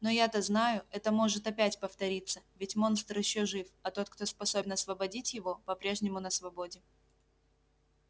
но я-то знаю это может опять повториться ведь монстр ещё жив а тот кто способен освободить его по-прежнему на свободе